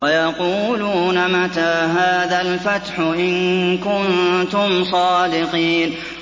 وَيَقُولُونَ مَتَىٰ هَٰذَا الْفَتْحُ إِن كُنتُمْ صَادِقِينَ